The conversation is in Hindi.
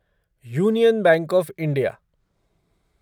union Bank of India